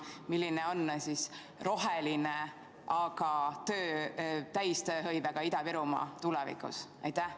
Milline on roheline, aga täistööhõivega Ida-Virumaa tulevikus?